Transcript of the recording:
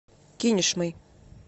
кинешмой